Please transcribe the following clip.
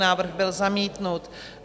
Návrh byl zamítnut.